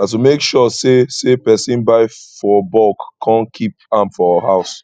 na to make sure say say persin buy for bulk kon kip am for house